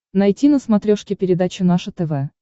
найти на смотрешке передачу наше тв